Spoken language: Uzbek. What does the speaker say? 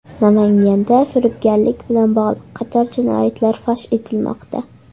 Namanganda firibgarlik bilan bog‘liq qator jinoyatlar fosh etilmoqda.